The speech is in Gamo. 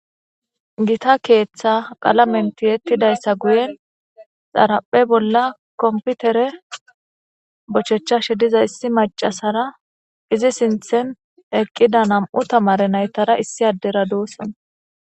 Gita keeththa qalamenti yettidayssa guyen xaraphe bolla komputere bochechashe diza issi macasara izi sinthen eqqida nam'u tamare naytara issi addera duossona.